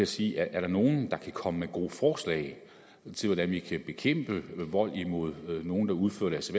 sige er der nogen der kan komme med gode forslag til hvordan vi kan bekæmpe vold imod nogen der udfører deres